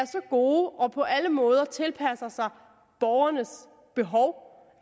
så gode og på alle måder tilpassede sig borgernes behov